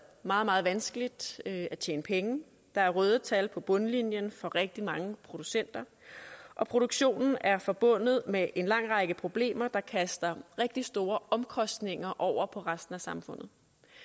meget meget vanskeligt ved at tjene penge der er røde tal på bundlinjen for rigtig mange producenter og produktionen er forbundet med en lang række problemer der kaster rigtig store omkostninger over på resten af samfundet